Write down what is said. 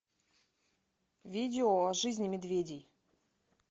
видео о жизни медведей